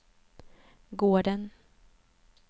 gården